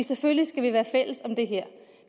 selvfølgelig skal vi være fælles om det her